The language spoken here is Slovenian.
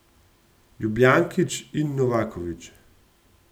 Ljubijankić in Novaković?